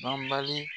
Banbali